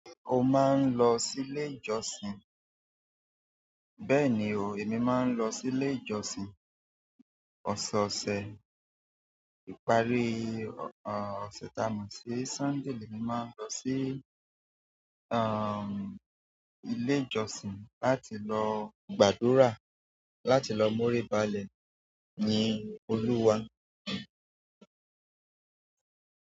O máa ń lọ sí ilé ìjọsìn? Bẹ́ẹ̀ni o, èmi máa ń lọ sí ilé ìjọsìn. Ọ̀sọ̀ọ̀sẹ̀, ìparí ọ̀sẹ̀ ta mọ̀ sí Sunday lẹ́ẹ̀mi máa lọ sí ilé ìjọsìn láti lọ gbàdúrà, láti lọ moríbalẹ̀ ní Olúwa.